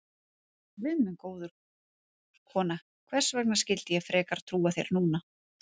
Guð minn góður, kona, hvers vegna skyldi ég frekar trúa þér núna?